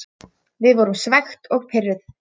Við vorum svekkt og pirruð.